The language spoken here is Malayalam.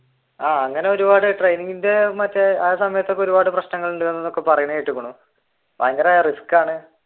അങ്ങനെ ഒരുപാട് training ന്റെ മറ്റേ ആ സമയത്തു മറ്റേ ഒരുപാട് പ്രശ്നങ്ങൾ ഉണ്ടെന്നു പറയണ കേട്ടിരിക്കുന്നു ഭയങ്കര റിസ്ക് ആണ്